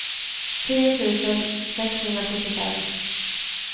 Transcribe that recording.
tio tusen sexhundrasjuttiofem